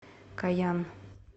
коян